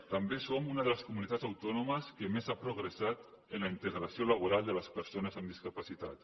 també som una de les comu·nitats autònomes que més ha progressat en la integra·ció laboral de les persones amb discapacitat